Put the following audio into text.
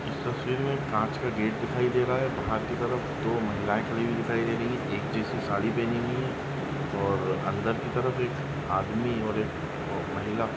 इस तस्वीर में एक कांच का गेट दिखाई दे रहा है बाहर की तरफ दो महिलाएं खड़ी हुई दिखाई दे रही है एक जैसी साड़ी पहनी हुई है और अंदर की तरफ एक आदमी और एक अ महिला --